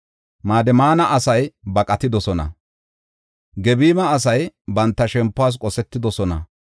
Madimana asay baqatidosona; Gebima asay banta shempuwas qosetidosona.